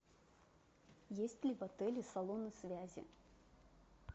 есть ли в отеле салоны связи